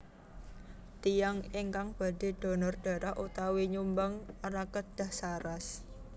Tiyang ingkang badhe dhonor dharah utawi nyumbang rah kedah saras